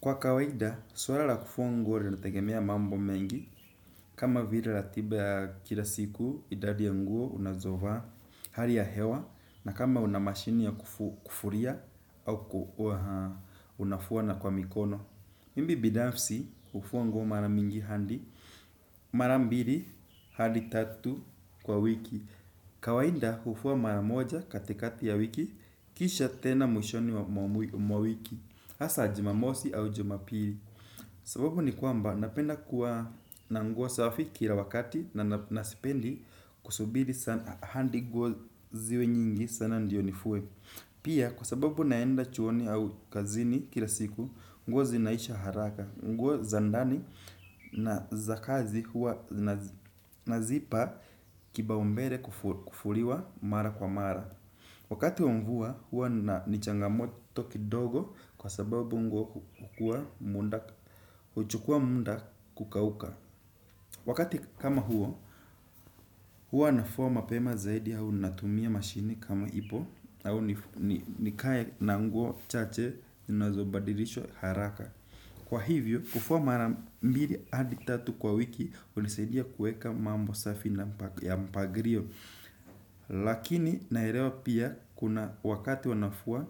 Kwa kawaida, swala la kufuwa nguo linategemea mambo mengi, kama vile latiba kila siku idadi ya nguo unazovaa hali ya hewa, na kama una mashini ya kufulia au unafuwa na kwa mikono. Mimi binafsi, ufuwa nguo mara mingi handi, mara mbiri, handi tatu kwa wiki. Kawainda, ufuwa maramoja katikati ya wiki, kisha tena mwishoni mwa wiki. Asa, jumamosi au jumapiri. Sababu ni kwamba, napenda kuwa na nguo safi kila wakati na nasipendi kusubiri handi nguo ziwe nyingi sana ndiyo nifue. Pia, kwa sababu naenda chuoni au kazini kila siku, nguo zinaisha haraka, nguo za ndani na za kazi hua nazipa kipa umbele kufuliwa mara kwa mara. Wakati wa mvua, huwa nina changamoto kidogo kwa sababu nguo uchukuwa munda kukauka. Wakati kama huo, huwa nafuwa mapema zaidi au natumia mashini kama ipo au nikaye na nguo chache zinazobadirishwa haraka. Kwa hivyo, kufuwa mara mbili hadi tatu kwa wiki, unisaidia kueka mambo safi na mpagirio. Lakini naerewa pia kuna wakati wanafuwa,